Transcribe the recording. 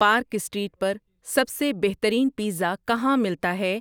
park Street پر سب سے بہترین پیزا کہاں ملتا ہے